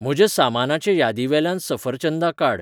म्हज्या सामानाचे यादीवेल्यान सफरचंदां काड